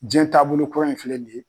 Diɲɛ taabolo kura in filɛ ni ye.